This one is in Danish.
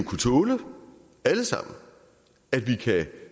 kunne tåle at vi kan